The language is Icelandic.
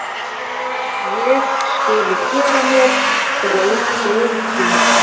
Ég skuli gera mér grein fyrir því.